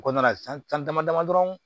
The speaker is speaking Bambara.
O kɔnɔna na san dama dama dɔrɔn